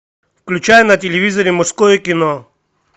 включай на телевизоре мужское кино